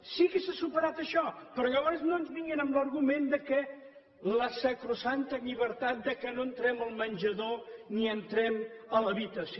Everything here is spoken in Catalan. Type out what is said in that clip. sí que s’ha superat això però llavors no ens vinguin amb l’argument de la sacrosanta llibertat que no entrem al menjador ni entrem a l’habitació